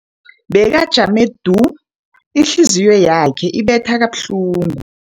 Bekajame du, ihliziyo yakhe ibetha kabuhlungu.